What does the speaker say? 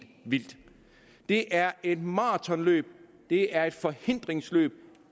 vildt det er et maratonløb det er et forhindringsløb